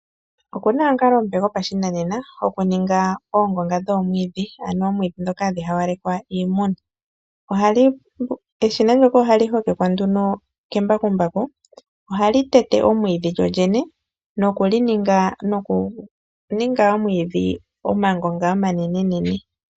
Okuna omukalo omupe gopashinanena gokuninga oongonga dhoomwiidhi ano oomwiidhi ndhoka hadhi hawalekwa iimuna, eshina ndoka ohali hokekwa nduno kembakumbaku ohali tete omwiidhi lyolyene nokuninga omwiidhi omangonga omanene.